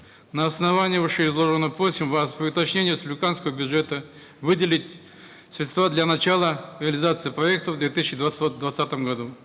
на основании вышеизложенного просим вас при уточнении республиканского бюджета выделить средства для начала реализации проекта в две тысячи двадцать двадцатом году